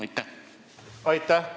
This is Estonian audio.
Aitäh!